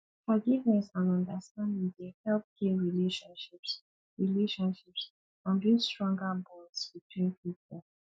forgiveness and understanding dey help heal relationships relationships and build stronger bonds between people